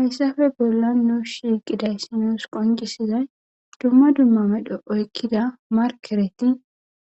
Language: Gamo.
hayssafe bolla noos shiiqiday sinoos qonqisizay dumma dumma medho oykkida markereti